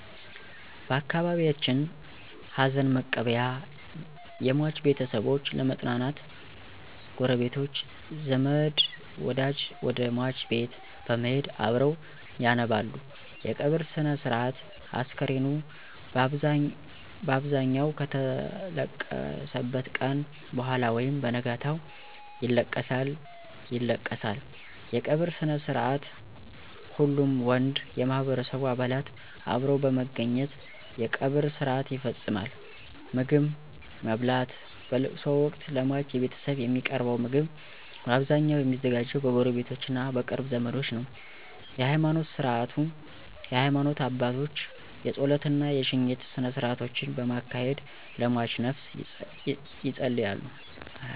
በአካባቢየችን ሀዘንመቀበያ የሟች ቤተሰቦች ለመጽናናት ጉረቤቶች፣ ዘመድወደጅ ወደሟች ቤት በመሄድ አብረዉ ያነባሉ _የቀብር ስነስርአት፣ አስከሬኑ ባብዛኘዉ ከተለቀሰበት ቀነ በኋላ ወይም በነጋታው ይለቀሳል ይለቀሳል_የቀበርስነስርአትሁሉም ወንድ የማህበረሰቡ አባላት አብረዉ በመገኘት የቀብር ስርአት ይፈጸማል _ምግብማብላት በለቅሶወቅት ለሟች ቤተሰብ የሚቀርበዉ ምግብ ባብዛኘዉ የሚዘጋጀዉ በጉረቤቶቾ እና በቅርብ ዘመዶች ነዉ ነዉ_የሀይማኖት ስነስርዓት የሀይማኖት አባቶች የጾለት እና የሽኝት ስነስርአቶችን በማካሄድ ለሟችነፍስ የጸልያሉ።